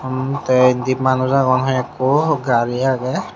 um teh endi manus agon hoikko gari aagey.